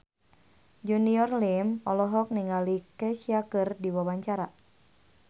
Junior Liem olohok ningali Kesha keur diwawancara